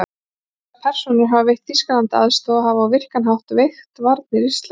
Þessar persónur hafa veitt Þýskalandi aðstoð og hafa á virkan hátt veikt varnir Íslands.